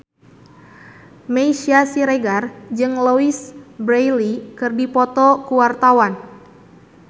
Meisya Siregar jeung Louise Brealey keur dipoto ku wartawan